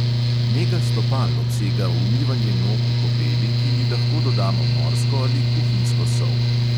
Nega stopal obsega umivanje nog v kopeli, ki ji lahko dodamo morsko ali kuhinjsko sol.